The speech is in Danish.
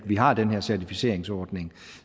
vi har den her certificeringsordning